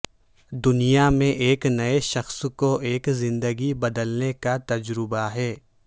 دنیا میں ایک نئے شخص کو ایک زندگی بدلنے کا تجربہ ہے